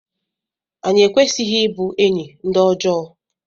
anyị ekwesịghị ịbụ enyi ndị ọjọọ